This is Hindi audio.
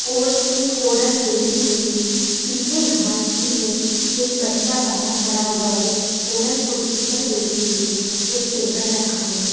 और एक औरत बैठी हुई है पीछे घास भी है एक बच्चा बाहर खड़ा हुआ है औरत कुर्सी पर बैठी हुई है एक टेबल रखा है।